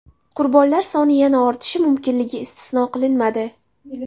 Qurbonlar soni yana ortishi mumkinligi istisno qilinmadi.